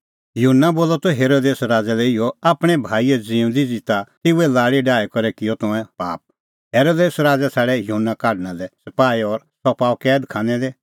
युहन्ना बोलअ त हेरोदेस राज़ै लै इहअ आपणैं भाईए ज़िऊंदी ज़िता तेऊए लाल़ी डाही करै किअ तंऐं पाप हेरोदेस राज़ै छ़ाडै युहन्ना ढाकणा लै सपाही और सह पाअ कैद खानै दी